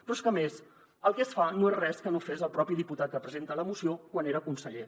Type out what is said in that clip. però és que a més el que es fa no és res que no fes el propi diputat que presenta la moció quan era conseller